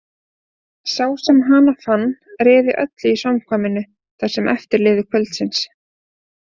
Sá sem hana fann réði öllu í samkvæminu það sem eftir lifði kvölds.